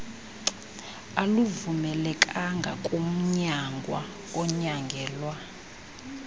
aluvumelekanga kumnyangwa onyangelwa